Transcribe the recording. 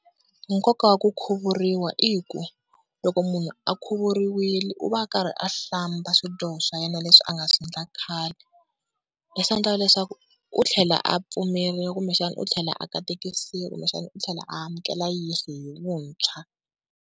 Nkoka wa ku khuvuriwa i ku, loko munhu a khuvuriwile u va a karhi a hlamba swidyoho swa yena leswi a nga swi endla khale. Leswi endlaka leswaku u tlhela a pfumeriwa kumbexana u tlhela a katekisawa kumbexana u tlhela a amukela Yeso hi vuntshwa.